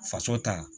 Faso ta